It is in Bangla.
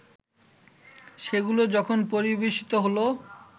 সেগুলো যখন পরিবেশিত হলো